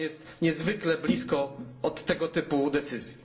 I Pan jest niezwykle blisko do tego typu decyzji.